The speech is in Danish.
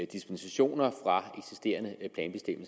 dispensationer fra